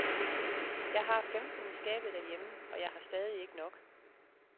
Jeg har femten i skabet derhjemme og jeg har stadig ikke nok.